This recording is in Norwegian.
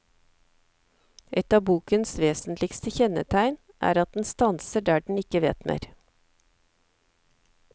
Ett av bokens vesentligste kjennetegn er at den stanser der den ikke vet mer.